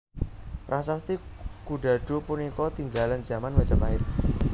Prasasti Kudadu punika tinggalan jaman Majapahit